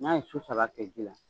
N'a ye su saba kɛ ji la